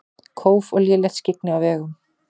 Kóf og lélegt skyggni á vegum